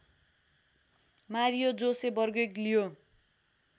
Mario Jose Bergoglio